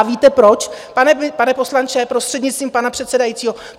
A víte proč, pane poslanče, prostřednictvím pana předsedajícího?